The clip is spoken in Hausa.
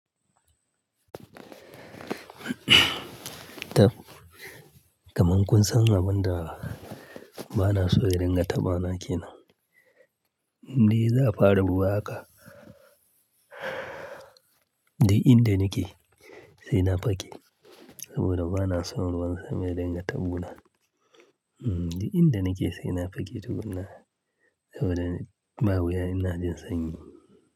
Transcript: Kamar kun san abin da ba na so in ringa tambana ke nan. Ni za a fara ruwa haka, duk inda nake sai na fage saboda ba na son ruwan sama ya dinga taɓa wuna., duk inda nake sai na fake tukuna saboda bawuya inajin sanyi.